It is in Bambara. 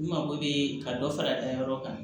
N mago bɛ ka dɔ fara a dayɔrɔ kan